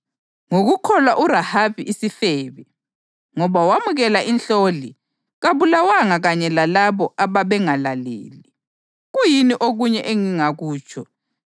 Ngokukholwa uRahabi isifebe, ngoba wamukela inhloli, kabulawanga kanye lalabo ababengalaleli.